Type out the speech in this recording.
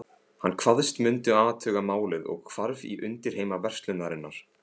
Hann kvaðst mundu athuga málið og hvarf í undirheima verslunarinnar.